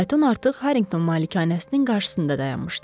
Fayton artıq Harrington malikanəsinin qarşısında dayanmışdı.